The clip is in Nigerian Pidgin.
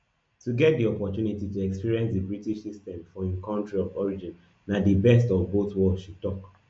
to get di opportunity to experience di british system for im kontri of origin na di best of both worlds she tok